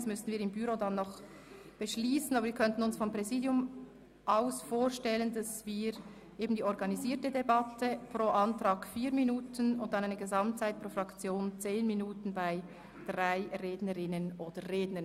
Dies müssten wir noch im Büro beschliessen, aber seitens des Präsidiums könnten wir uns eine organisierte Debatte vorstellen, nämlich mit 4 Minuten Redezeit pro Antrag und einer Gesamtredezeit von 10 Minuten pro Fraktion bei drei Rednerinnen oder Rednern.